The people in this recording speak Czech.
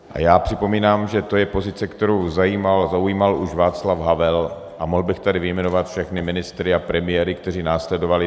A já připomínám, že to je pozice, kterou zaujímal už Václav Havel, a mohl bych tady vyjmenovat všechny ministry a premiéry, kteří následovali.